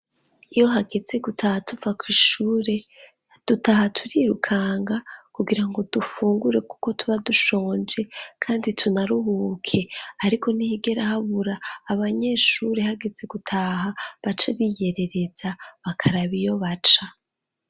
Iyo hageze gutaha tuva kw' ishure, dutaha turirukanga kugirango dufungure kuko tuba dushonje kandi tunaruhuke. Ariko ntihigera habura abanyeshuri hageze gutaha baca biyerereza bakaraba iyo baca.